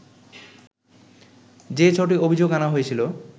যে ছ’টি অভিযোগ আনা হয়েছিলো